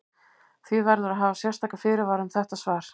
Því verður að hafa sérstaka fyrirvara um þetta svar.